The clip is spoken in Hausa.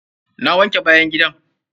Na wanke bayan gidan.